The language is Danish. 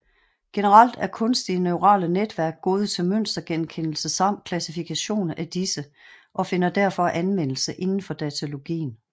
Generelt er kunstige neurale netværk gode til mønstergenkendelse samt klassifikation af disse og finder derfor anvendelse inden for datalogien